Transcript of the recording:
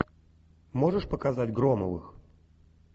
можешь показать громовых